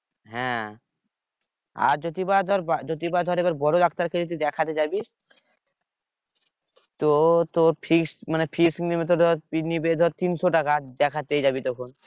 হ্যাঁ আর যদি বা ধর যদি বা ধর এবার বড় doctor এর কাছে দেখাতে যাবি তো তোর fees মানে fees নেবে তো ধর fees নিবে তিনশো টাকা দেখাতেই যাবি তখন